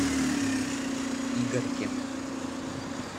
игорьке